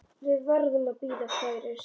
Við verðum að bíða færis.